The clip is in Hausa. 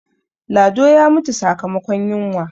lado ya mutu sakamakon yinwa